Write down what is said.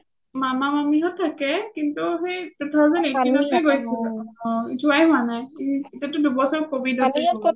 মামা মামী হ’ত থাকে কিন্তু সেই two thousand eighteenth টেই গৈছিলো যোৱাই হোৱা নাই তাতে দুবছৰ covid তে গ’ল